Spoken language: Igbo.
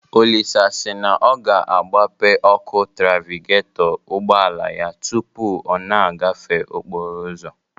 Olisa si na ọ ga-agbape ọkụ trafigetọ ụgbọala ya tụpụ ọ na-agafe okporo ụzọ